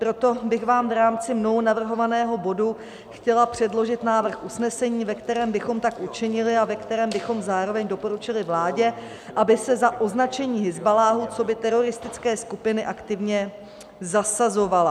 Proto bych vám v rámci mnou navrhovaného bodu chtěla předložit návrh usnesení, ve kterém bychom tak učinili a ve kterém bychom zároveň doporučili vládě, aby se za označení Hizballáhu coby teroristické skupiny aktivně zasazovala.